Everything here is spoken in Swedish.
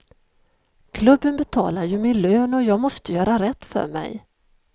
Klubben betalar ju min lön och jag måste göra rätt för mig.